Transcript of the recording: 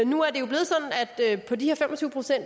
på de